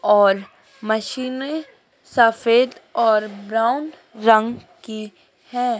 और मशीने सफेद और ब्राउन रंग की है।